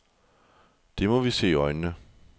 Det må vi se i øjnene.